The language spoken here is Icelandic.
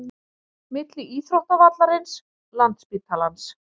Milli íþróttavallarins, landsspítalans